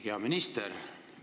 Hea minister!